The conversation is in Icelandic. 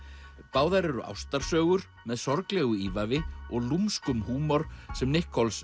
báðar eru ástarsögur með sorglegu ívafi og húmor sem